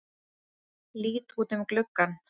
Lít út um gluggann.